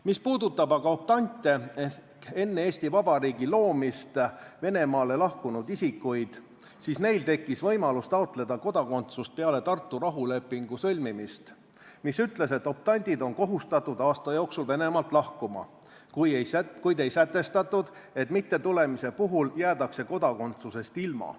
Mis puudutab aga optante ehk enne Eesti Vabariigi loomist Venemaale lahkunud isikuid, siis neil tekkis võimalus taotleda kodakondsust peale Tartu rahulepingu sõlmimist, mis ütles, et optandid on kohustatud aasta jooksul Venemaalt lahkuma, kuid ei sätestatud, et mittetulemise puhul jäädakse kodakondsusest ilma.